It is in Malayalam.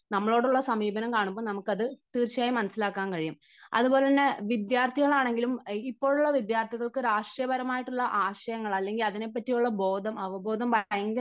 നമ്മളോടുള്ള സമീപനം കാണുമ്പോൾ നമുക്ക് അത് തീർച്ചയായും മനസ്സിലാക്കാൻ കഴിയും. അതുപോലെതന്നെ വിദ്യാർത്ഥികൾ ആണെങ്കിലും ഇപ്പോഴുള്ള വിദ്യാർഥികൾക്ക് രാഷ്ട്രീയപരമായി ട്ടുള്ള ആശയങ്ങൾ അല്ലെങ്കിൽ അതിനെ പറ്റിയുള്ള ബോധം, അവബോധം ഭയങ്കര